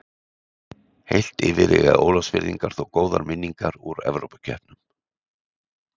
Heilt yfir eiga Ólafsfirðingar þó góðar minningar úr Evrópukeppnunum.